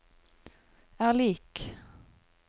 er lik